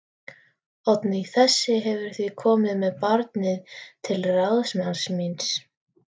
Oddný þessi hefur því komið með barnið til ráðsmanns míns